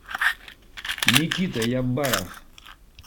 никита ябаров